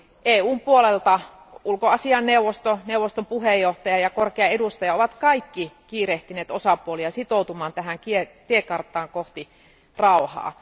EUn puolelta ulkoasiainneuvosto, neuvoston puheenjohtaja ja korkea edustaja ovat kaikki kiirehtineet osapuolia sitoutumaan tähän tiekarttaan kohti rauhaa.